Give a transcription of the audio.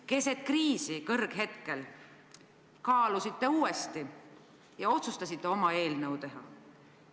Keset kriisi, selle kõrghetkel kaalusite uuesti ja otsustasite oma eelnõu teha.